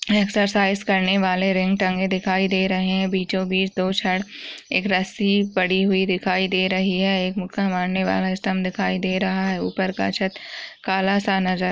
Exercise करने वाले ring टंगे दिखाई दे रहे है। बीचोबीच दो छड़ एक रस्सी पड़ी दिखाई दे रही है। एक मुक्का मारने वाला स्थम्ब दिखाई दे रहे है। ऊपर का छत काला सा नजर --